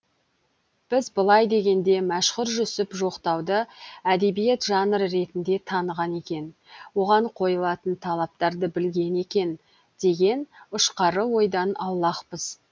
біз былай дегенде мәшһүр жүсіп жоқтауды әдебиет жанры ретінде таныған екен оған қойылатын талаптарды білген екен деген ұшқары ойдан аулақпыз